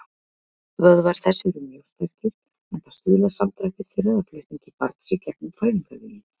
Vöðvar þess eru mjög sterkir, enda stuðla samdrættir þeirra að flutningi barns í gegnum fæðingarveginn.